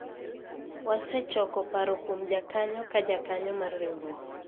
wasechoko paro kuom jakanyo ka jakanyo mar riwruok